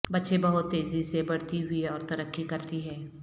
بچے بہت تیزی سے بڑھتی ہوئی اور ترقی کرتی ہے